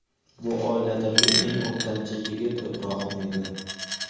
Bu oiladagi eng o‘rtancha yigit Ibrohim edi.